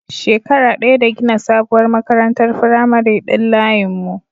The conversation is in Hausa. Shekara ɗaya da gina sabuwar makarantar firamare din layin mu